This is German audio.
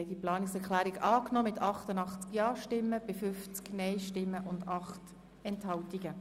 Sie haben diese Planungserklärung angenommen.